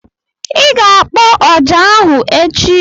I ga-akpọ ọjà ahụ echi!